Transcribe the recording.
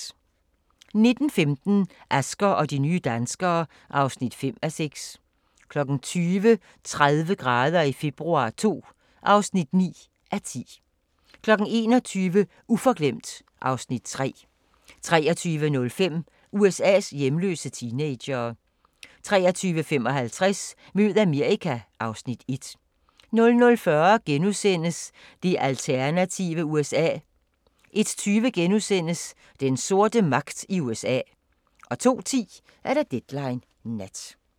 19:15: Asger og de nye danskere (5:6) 20:00: 30 grader i februar II (9:10) 21:00: Uforglemt (Afs. 3) 23:05: USA's hjemløse teenagere 23:55: Mød Amerika (Afs. 1) 00:40: Det alternative USA * 01:20: Den sorte magt i USA * 02:10: Deadline Nat